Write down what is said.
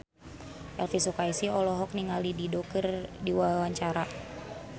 Elvy Sukaesih olohok ningali Dido keur diwawancara